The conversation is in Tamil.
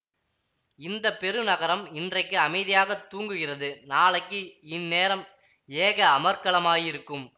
இந்த பெருநகரம் இன்றைக்கு அமைதியாகத் தூங்குகிறது நாளைக்கு இந்நேரம் ஏக அமர்க்களமாயிருக்கும்